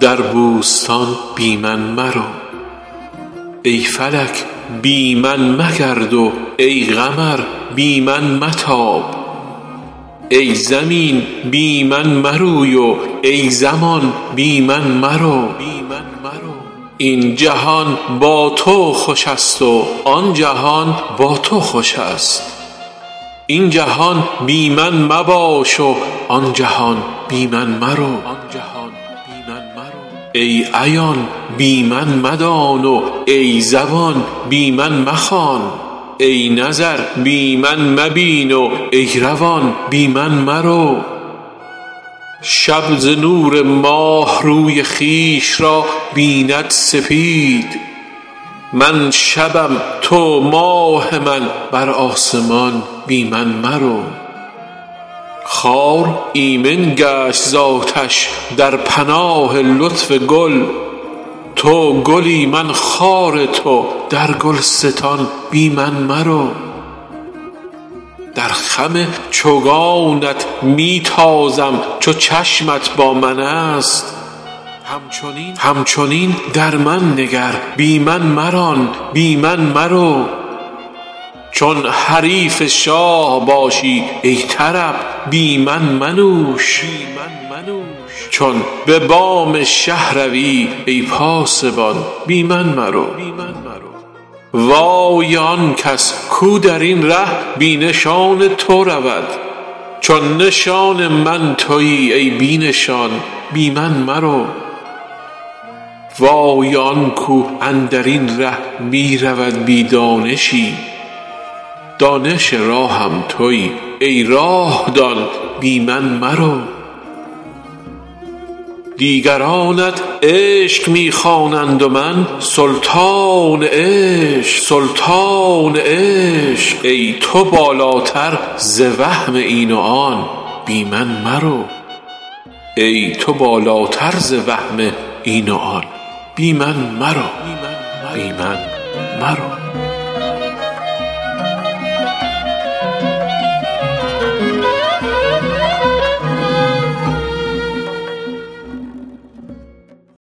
در بوستان بی من مرو ای فلک بی من مگرد و ای قمر بی من متاب ای زمین بی من مروی و ای زمان بی من مرو این جهان با تو خوش است و آن جهان با تو خوش است این جهان بی من مباش و آن جهان بی من مرو ای عیان بی من مدان و ای زبان بی من مخوان ای نظر بی من مبین و ای روان بی من مرو شب ز نور ماه روی خویش را بیند سپید من شبم تو ماه من بر آسمان بی من مرو خار ایمن گشت ز آتش در پناه لطف گل تو گلی من خار تو در گلستان بی من مرو در خم چوگانت می تازم چو چشمت با من است همچنین در من نگر بی من مران بی من مرو چون حریف شاه باشی ای طرب بی من منوش چون به بام شه روی ای پاسبان بی من مرو وای آن کس کو در این ره بی نشان تو رود چو نشان من توی ای بی نشان بی من مرو وای آن کو اندر این ره می رود بی دانشی دانش راهم توی ای راه دان بی من مرو دیگرانت عشق می خوانند و من سلطان عشق ای تو بالاتر ز وهم این و آن بی من مرو